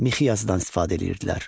Mixi yazıdan istifadə edirdilər.